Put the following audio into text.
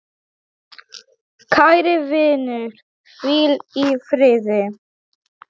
Kæri vinur, hvíl í friði.